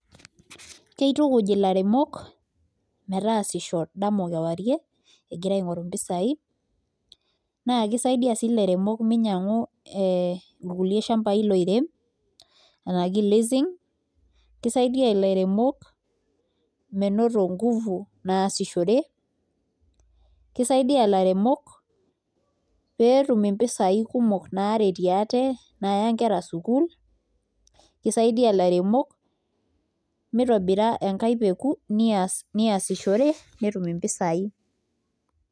Keitukuj ilairemok egira aasisho dama okewarie egira aing'oru mpisaai naa kisaidia sii ilairemok mimyiang'u kulie sambai loirem enaa leasing menoto nguvu naasishore kisaidia ilairemok pee etum mpisaai kumok naaretie ate naaya nkera sukuul kisaidia ilairemok mitobira enkae peku neeasishore netum mpisaai.